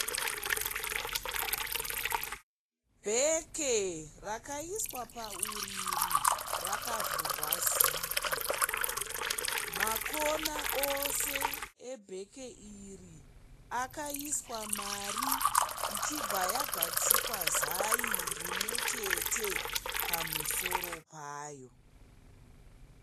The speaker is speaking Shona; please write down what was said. Bheke rakaiswa pauriri rakavhurwa zipi makona ose ebheke iri akaiswa mari ichibva yagadzikwa zai rimwe chete pamusoro payo.